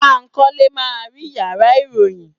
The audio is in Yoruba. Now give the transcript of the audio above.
Bankole ma ri iyàrá iroyin.